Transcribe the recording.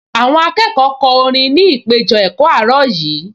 Àwọn akẹ́kọ̀ọ kọ orin ní ìpéjọ-ẹ̀kọ́ àárọ̀ yìí